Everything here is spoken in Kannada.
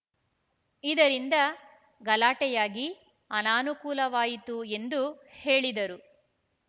ಇದರಿಂದ ಗಲಾಟೆಯಾಗಿ ಅನಾನುಕೂಲವಾಯಿತು ಎಂದು ಹೇಳಿದರು